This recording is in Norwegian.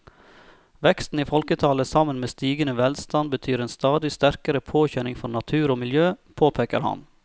Veksten i folketallet sammen med stigende velstand betyr en stadig sterkere påkjenning for natur og miljø, påpeker han.